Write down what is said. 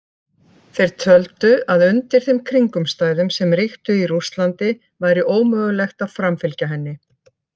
Þeir töldu að undir þeim kringumstæðum sem ríktu í Rússlandi væri ómögulegt að framfylgja henni.